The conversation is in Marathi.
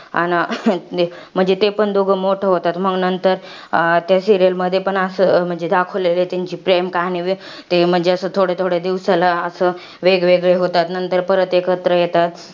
अन ते म्हणजे ते पण दोघं मोठं होतात. मंग नंतर, अं त्या serial मध्ये पण असं म्हणजे दाखवलेलं आहे, त्यांची प्रेम कहाणी. व्यते म्हणजे असं थोड्या थोड्या दिवसाला असं, वेगवेगळे होतात, नंतर परत एकत्र येतात.